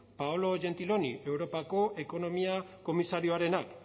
paolo gentiloni europako ekonomia komisarioarenak